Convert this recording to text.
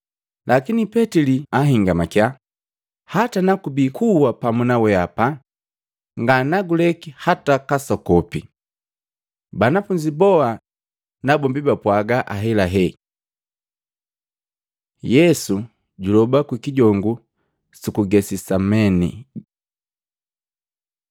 Lakini Petili jahingamakya, “Hata nakubii kuwa pamu nawehapa, nganaguleki hata kasokopi.” Banafunzi boa nabombi bapwaga ahelahee. Yesu juloba kukijongu suku Getasemane Matei 26:35-46; Luka 22:39-46